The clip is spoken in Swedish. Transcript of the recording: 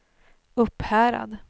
Upphärad